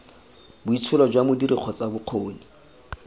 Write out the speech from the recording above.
boitsholo jwa modiri kgotsa bokgoni